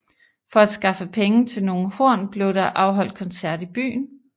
For at skaffe penge til nogle horn blev der afholdt koncert i byen